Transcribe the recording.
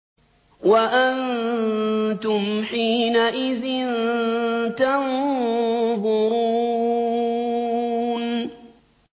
وَأَنتُمْ حِينَئِذٍ تَنظُرُونَ